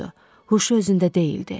Huşu özündə deyildi.